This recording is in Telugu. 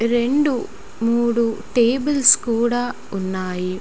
రెండు మూడు టేబుల్స్ కూడా ఉన్నాయి .